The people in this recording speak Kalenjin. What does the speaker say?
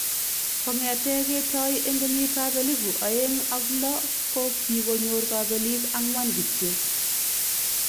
Kong'etee ke toi eng' kenyit ab elibu aeng' ak lo ko kikonyor kabelik ang'wan kityo